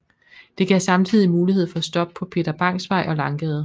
Det gav samtidig mulighed for stop på Peter Bangs Vej og Langgade